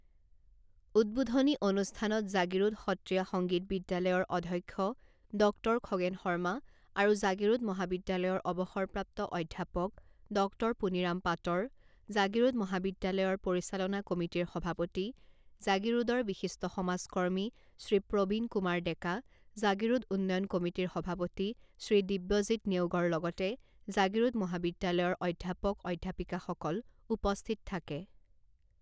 উদ্বোধনী অনুষ্ঠানত জাগীৰোড সত্ৰীয়া সংগীত বিদ্যালয়ৰ অধ্যক্ষ ডক্টৰ খগেন শৰ্মা আৰু জাগীৰোড মহাবিদ্যালয়ৰ অৱসৰপ্ৰাপ্ত অধ্যাপক ডক্টৰ পুনিৰাম পাটৰ, জাগীৰোড মহাবিদ্যালয়ৰ পৰিচালনা কমিটিৰ সভাপতি, জাগীৰোডৰ বিশিষ্ট সমাজকৰ্মী শ্ৰী প্ৰবীণ কুমাৰ ডেকা, জাগীৰোড উন্নয়ন কমিটিৰ সভাপতি শ্ৰী দিব্যজিত নেওগৰ লগতে জাগীৰোড মহাবিদ্যালয়ৰ অধ্যাপক অধ্যাপিকাসকল উপস্থিত থাকে।